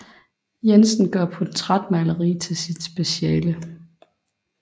Jensen gør portrætmaleri til sit speciale